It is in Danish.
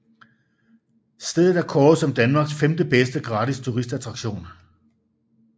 Stedet er kåret som Danmarks femtebedste gratis turistattraktion